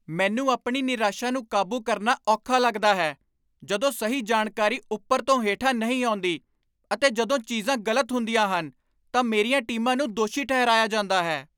ਮੈਨੂੰ ਆਪਣੀ ਨਿਰਾਸ਼ਾ ਨੂੰ ਕਾਬੂ ਕਰਨਾ ਔਖਾ ਲੱਗਦਾ ਹੈ ਜਦੋਂ ਸਹੀ ਜਾਣਕਾਰੀ ਉੱਪਰ ਤੋਂ ਹੇਠਾਂ ਨਹੀਂ ਆਉਂਦੀ ਅਤੇ ਜਦੋਂ ਚੀਜ਼ਾਂ ਗ਼ਲਤ ਹੁੰਦੀਆਂ ਹਨ ਤਾਂ ਮੇਰੀਆਂ ਟੀਮਾਂ ਨੂੰ ਦੋਸ਼ੀ ਠਹਿਰਾਇਆ ਜਾਂਦਾ ਹੈ।